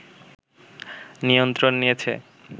নিয়ন্ত্রণ নিয়েছে